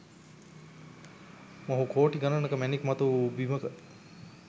මොහු කෝටි ගණනක මැණික්‌ මතුවූ බිමක